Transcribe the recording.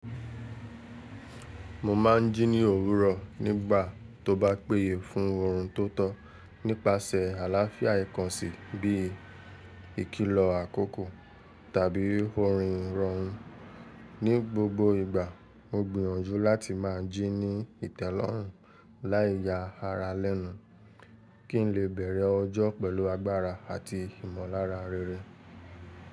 Mo máa ń jí ní òwúrọ̀ nígbà tó bá péyè fún oorun tó tọ́, nípasẹ̀ àláfíà ìkànsì bí i ìkílọ̀ àkókò tàbí oorin ìrọrùn. Ní gbogbo ìgbà, mo gbìyànjú láti máa jí ní ìtẹ́lọ́rùn láìyà ara lẹ́nu, kí ń lè bẹ̀rẹ̀ ọjọ́ pẹ̀lú agbára àti ìmọ̀lára réré.